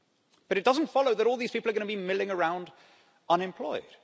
But it doesn't follow that all these people are going to be milling around unemployed.